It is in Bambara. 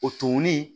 O tumuni